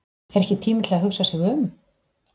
Er ekki tími til að hugsa sig um?